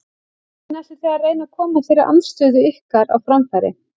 Hvernig ætlið þið að reyna að koma þeirri andstöðu ykkar á framfæri?